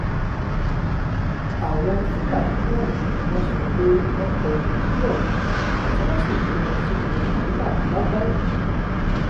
àwọn fúlàní mẹ́rin ni wọ́n sọ pé wọ́n kọlu ebi ohun tí wọ́n sì kó wọn sínú wàhálà ńlá báyìí